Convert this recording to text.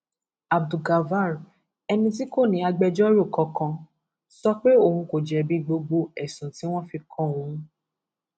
abdulgafar ẹni tí kò ní agbẹjọrò kankan sọ pé òun kò jẹbi gbogbo ẹsùn tí wọn fi kan òun